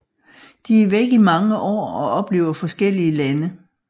De er væk i mange år og oplever forskellige lande